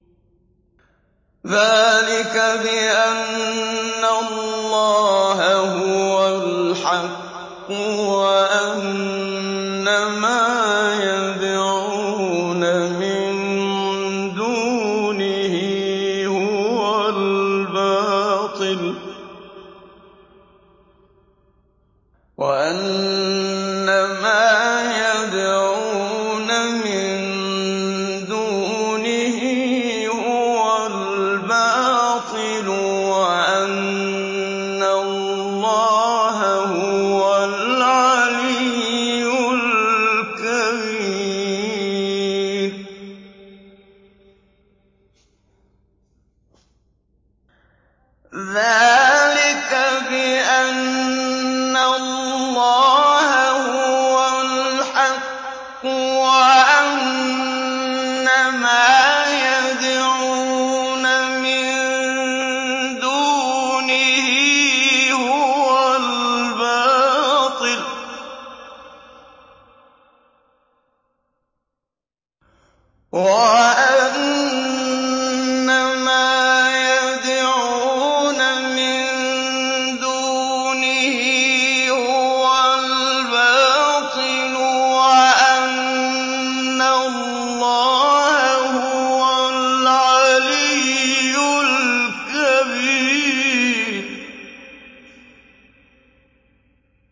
ذَٰلِكَ بِأَنَّ اللَّهَ هُوَ الْحَقُّ وَأَنَّ مَا يَدْعُونَ مِن دُونِهِ هُوَ الْبَاطِلُ وَأَنَّ اللَّهَ هُوَ الْعَلِيُّ الْكَبِيرُ